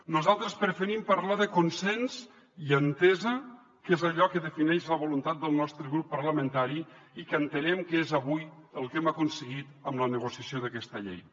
nosaltres preferim parlar de consens i entesa que és allò que defineix la voluntat del nostre grup parlamentari i que entenem que és avui el que hem aconseguit amb la negociació d’aquesta llei